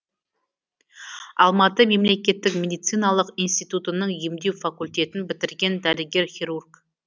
алматы мемлекеттік медициналық институтының емдеу факультетін бітірген дәрігер хирург